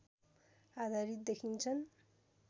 आधारित देखिन्छन्